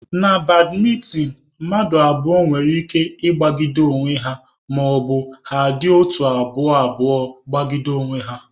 Na badmịntịn, mmadụ abụọ nwere ike ịgbagide onwe ha maọbụ ha dị otu abụọ abụọ gbagide onwe ha.